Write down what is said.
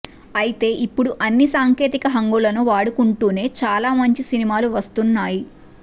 అయితే ఇప్పుడు అన్ని సాంకేతిక హంగులను వాడుకుంటూనే చాలా మంచి సినిమాలు వస్తున్నాయి